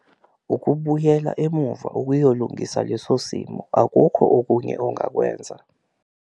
Ukubuyela emumva ukuyolungisa leso simo akukho okunye ongakwenza.